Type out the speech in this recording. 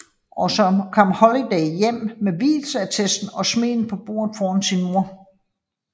Men så kom Holiday hjem med vielsesattesten og smed den på bordet foran sin mor